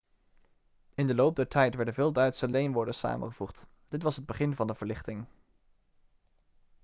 in de loop der tijd werden veel duitse leenwoorden samengevoegd dit was het begin van de verlichting